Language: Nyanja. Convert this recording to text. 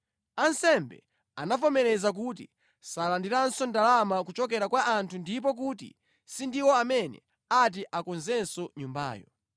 Ansembe anavomera kuti salandiranso ndalama kuchokera kwa anthu ndipo kuti sindiwo amene ati akonzenso nyumbayo.